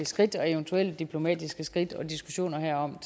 skridt eller eventuelle diplomatiske skridt og diskussioner herom